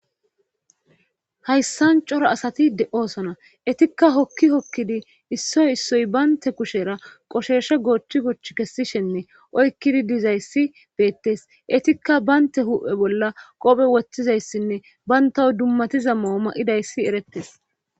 Hayssan cora asati de'osona etikka hokki hokkidi issoy issoy baynte kushera qosheeshe goochi gochch kessishenne oykkidi dizayssi beettes etikka baynte huphe bolla qophe wothtizayssinne bayntaw dummatiza mooma'idayssi erettes